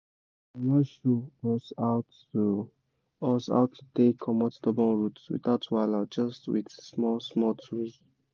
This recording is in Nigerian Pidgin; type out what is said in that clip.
how to take comot stubborn root without wahala just with small-small tools.